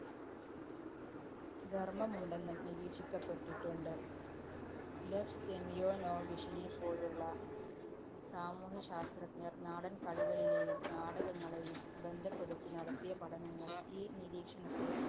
ധര്‍മമുണ്ടെന്നും നിരീക്ഷിക്കപ്പെട്ടിട്ടുണ്ട്. ലെഫ് സെമിയോനോവിഷിനെപോലുള്ള സാമൂഹ്യശാസ്ത്രജ്ഞര്‍ നാടന്‍കളികളിലെയും നാടകങ്ങളെയും ബന്ധപ്പെടുത്തി നടത്തിയ പഠനങ്ങള്‍ ഈ നിരീക്ഷണത്തെ